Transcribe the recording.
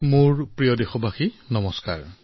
মোৰ মৰমৰ দেশবাসীসকল নমস্কাৰ